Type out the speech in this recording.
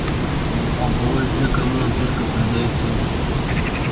а бывают те кому он только придаёт силы